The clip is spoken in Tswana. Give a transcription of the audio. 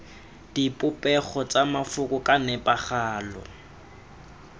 dipopego tsa mafoko ka nepagalo